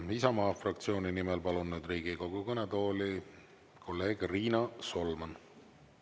Isamaa fraktsiooni nimel, palun nüüd Riigikogu kõnetooli kolleeg Riina Solman.